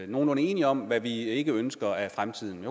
nogenlunde enige om hvad vi ikke ønsker af fremtiden